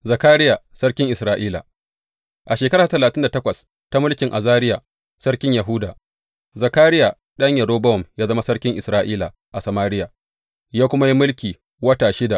Zakariya sarkin Isra’ila A shekara ta talatin da takwas ta mulkin Azariya sarkin Yahuda, Zakariya ɗan Yerobowam ya zama sarkin Isra’ila a Samariya, ya kuma yi mulki wata shida.